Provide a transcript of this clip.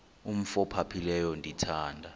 umf ophaphileyo ndithanda